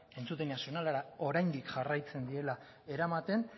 entzutegi nazionalera oraindik jarraitzen direla eramaten